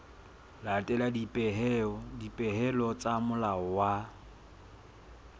latela dipehelo tsa molao wa